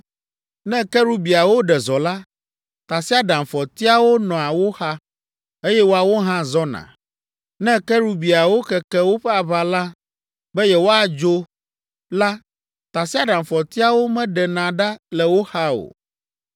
Ne kerubiawo ɖe zɔ la, tasiaɖamfɔtiawo nɔa wo xa, eye woawo hã zɔna. Ne kerubiawo keke woƒe aʋala be yewoadzo la tasiaɖamfɔtiawo meɖena ɖa le wo xa o.